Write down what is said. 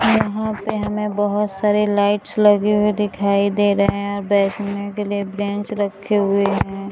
यहां पे हमें बहुत सारे लाइट्स लगे हुए दिखाई दे रहे हैं और बैठने के लिए ब्रेंच रखे हुए हैं।